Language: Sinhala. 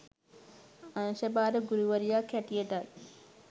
අංශ භාර ගුරුවරියක් හැටියටත්